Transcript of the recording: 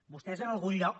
vostès en algun lloc